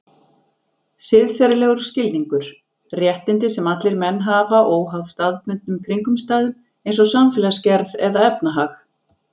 Siðferðilegur skilningur: Réttindi sem allir menn hafa óháð staðbundnum kringumstæðum eins og samfélagsgerð eða efnahag.